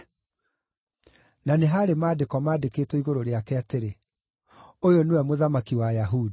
Na nĩ haarĩ maandĩko maandĩkĩtwo igũrũ rĩake atĩrĩ: ŨYŨ NĨWE MŨTHAMAKI WA AYAHUDI.